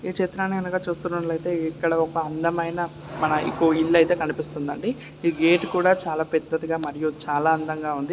ఈ చిత్రం గనుక చూస్తున్నట్టయిటే ఇక్కడ ఒక అందమైన ఒక ఇల్లు అయితే కనిపిస్తుందండిఈ గేట్ కూడా చాలా పెద్దదిగా మరియు చాలా అందంగా ఉంది.